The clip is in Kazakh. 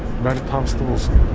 бәрі табысты болсын